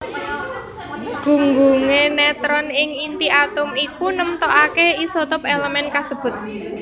Gunggungé netron ing inti atom iku nemtokaké isotop èlemèn kasebut